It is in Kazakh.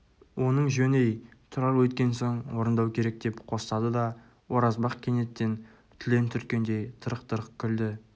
оның жөн-ей тұрар өйткен соң орындау керек деп қостады да оразбақ кенеттен түлен түрткендей тырқ-тырқ күлді